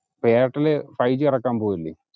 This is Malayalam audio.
എയർടെൽ ഫൈവ് ജി ഇറക്കാൻ പോകുവല്ലേ